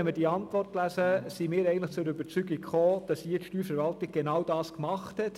Wenn wir die Antwort des Regierungsrats lesen, kommen wir zur Überzeugung, dass die Steuerverwaltung genau das getan hat.